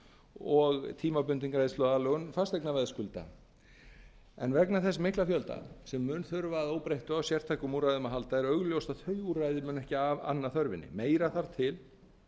og tímabundin greiðsluaðlögun fasteignaveðskulda en vegna þess mikla fjölda sem mun þurfa að óbreyttu á sértækum úrræðum að halda er augljóst að þau úrræði munu ekki anna þörfinni meira þarf til